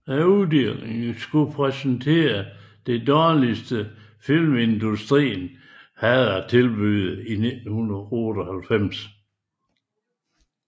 Uddelingen skulle præsentere det dårligste filmindustrien havde at tilbyde i 1998